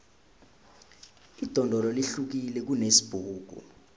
idondolo lihlukile kunesibhuku